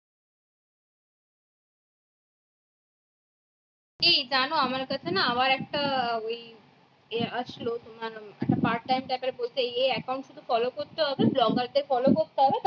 এই জান আমার কাছে না আবার একটা ওই এ আসলো তোমার এই এই account follow করতে হবে blogger দের follow করতে হবে